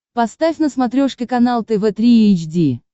поставь на смотрешке канал тв три эйч ди